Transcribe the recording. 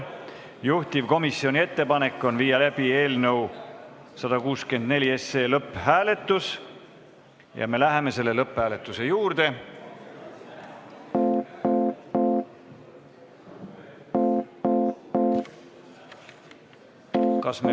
Juhtivkomisjoni ettepanek on viia läbi eelnõu 164 lõpphääletus ja me läheme selle lõpphääletuse juurde.